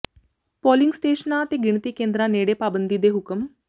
polling ਸਟੇਸ਼ਨਾਂ ਤੇ ਗਿਣਤੀ ਕੇਂਦਰਾਂ ਨੇੜੇ ਪਾਬੰਦੀ ਦੇ ਹੁਕਮ